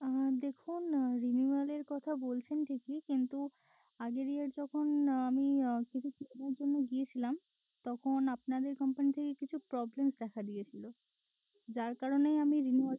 আহ দেখুন renewal এর কথা বলছেন ঠিকই কিন্তু আগের year যখন আমি আহ করার জন্য গেছিলাম তখন আপনাদের company থেকে কিছু problems দেখা দিয়েছিল যার কারণে আমি renewal